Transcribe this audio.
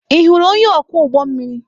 Ị hụrụ onye ọkwọ ụgbọ mmiri?